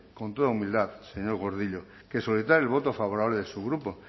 con toda humildad señor gordillo que solicitar el voto favorable de su grupo